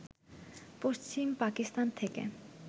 পশ্চিম পাকিস্তান থেকে